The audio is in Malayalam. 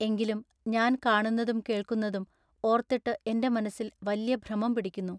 എങ്കിലും ഞാൻ ൟക്കാണുന്നതും കേൾക്കുന്നതും ഓൎത്തിട്ടു എന്റെ മനസ്സിൽ വല്യ ഭ്രമം പിടിക്കുന്നു.